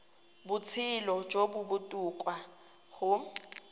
botshelo jo bo botoka go